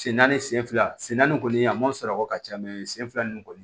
Sen naani sen fila sen naani kɔni a ma sarako ka ca sen fila nin kɔni